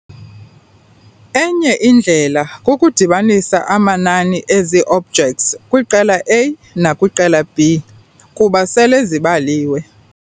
Enye indlela kukudibanisa amanani ezi-objects kwiqela A nakwiqela B, kuba sele zibaliwe.